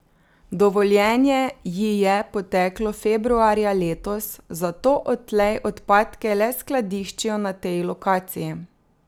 Dovoljenje ji je poteklo februarja letos, zato odtlej odpadke le skladiščijo na tej lokaciji.